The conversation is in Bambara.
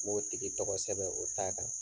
N b'o tigi tɔgɔ kosɛbɛ o t'a kan.